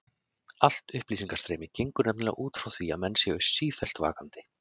Allt upplýsingastreymi gengur nefnilega út frá því að menn séu sífellt vakandi.